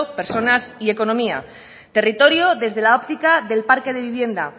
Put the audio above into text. personas y economía territorio desde la óptica del parque de vivienda